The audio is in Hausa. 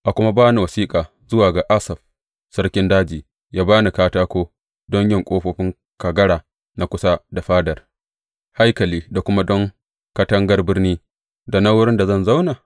A kuma ba ni wasiƙa zuwa ga Asaf, sarkin daji, yă ba ni katako don yin ƙofofin kagara na kusa da fadar haikali da kuma don katangar birni, da na wurin da zan zauna?